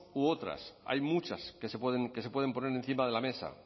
u otras hay muchas que se pueden poner encima de la mesa